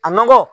A nɔgɔ